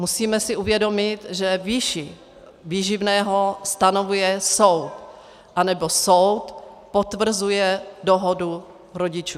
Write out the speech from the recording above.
Musíme si uvědomit, že výši výživného stanovuje soud, anebo soud potvrzuje dohodu rodičů.